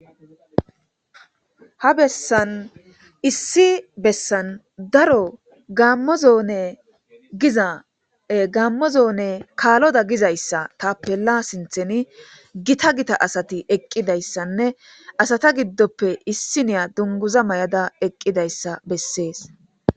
Ha bessan issi bessan daro gammo zoone giza gammo zoone kaaloda gizayssa tappe la sintheni gita gita asati eqqidayssanne asata giddoppe issi niya dunguza may7ada eqqidayssa bessees